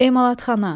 Emalatxana.